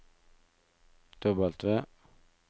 W